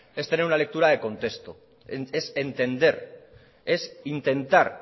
es tener una lectura de contexto es entender es intentar